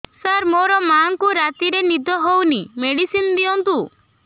ସାର ମୋର ମାଆଙ୍କୁ ରାତିରେ ନିଦ ହଉନି ମେଡିସିନ ଦିଅନ୍ତୁ